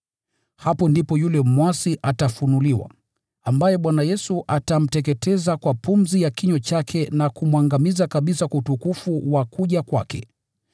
Hapo ndipo yule mwasi atafunuliwa, ambaye Bwana Yesu atamteketeza kwa pumzi ya kinywa chake na kumwangamiza kabisa kwa utukufu wa kuja kwake.